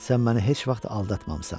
Sən məni heç vaxt aldatmamısan.